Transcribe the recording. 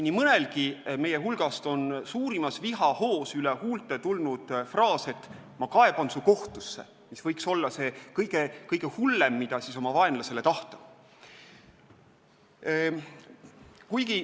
Nii mõnelgi meie hulgast on suurimas vihahoos üle huulte tulnud fraas, et ma kaeban su kohtusse – see võiks olla see kõige hullem, mida oma vaenlasele tahta.